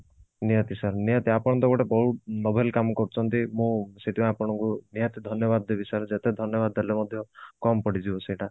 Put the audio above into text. ନିହାତି sir ନିହାତି ଆପଣ ତ ଗୋଟେ ବହୁତ novel କାମ କରୁଛନ୍ତି ମୁଁ ସେଥି ପାଇଁ ଆପଣଙ୍କୁ ନିହାତି ଧନ୍ଯ ବାଦ ଦେବି sir ଯେତେ ଧନ୍ୟବାଦ ଦେଲେ ମଧ୍ୟ କମ ପଡିଯିବ ସେଟା